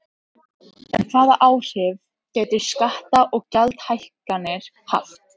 En hvaða áhrif gætu skatta- og gjaldahækkanir haft?